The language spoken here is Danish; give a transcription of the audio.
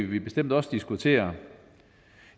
vi bestemt også diskutere